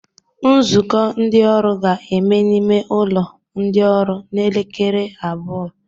Nzukọ ndị ọrụ ga-eme n'ime ụlọ ndị ọrụ n'elekere abụọ